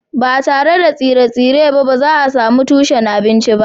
Ba tare da tsire-tsire ba, ba za a sami tushen abinci ba